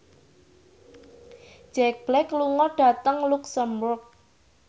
Jack Black lunga dhateng luxemburg